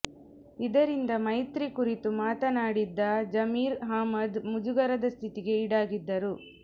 ಇದರಿಂದ ಮೈತ್ರಿ ಕುರಿತು ಮಾತನಾಡಿದ್ದ ಜಮೀರ್ ಅಹ್ಮದ್ ಮುಜುಗರದ ಸ್ಥಿತಿಗೆ ಈಡಾಗಿದ್ದರು